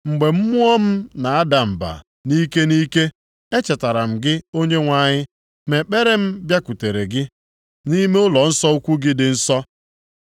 “Mgbe mmụọ m na-ada mba nʼike nʼike, e chetara m gị Onyenwe anyị, ma ekpere m bịakwutere gị, nʼime ụlọnsọ ukwu gị dị nsọ.